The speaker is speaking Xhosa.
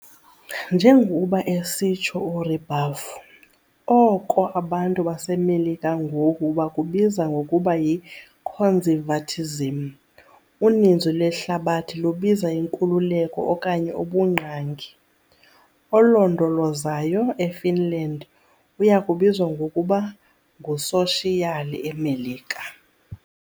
Njengokuba esitsho uRibuffo, "oko abantu baseMelika ngoku bakubiza ngokuba yi-conservatism uninzi lwehlabathi lubiza inkululeko okanye ubungqangi "," olondolozayo " eFinland uya kubizwa ngokuba " ngusoshiyali " eMelika.